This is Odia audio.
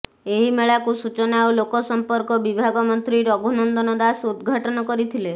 ଏହି ମେଳାକୁ ସୂଚନା ଓ ଲୋକସମ୍ପର୍କ ବିଭାଗ ମନ୍ତ୍ରୀ ରଘୁନନ୍ଦନ ଦାସ ଉଦଘାଟନ କରିଥିଲେ